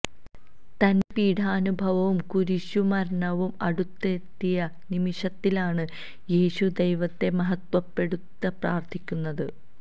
തന്റെ പീഡാനുഭവവും കുരിശുമരണവും അടുത്തെത്തിയ നിമിഷത്തിലാണ് യേശു ദൈവത്തെ മഹത്വപ്പെടുത്തി പ്രാര്ത്ഥിക്കുന്നത്